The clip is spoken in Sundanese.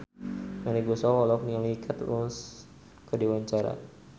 Melly Goeslaw olohok ningali Kate Moss keur diwawancara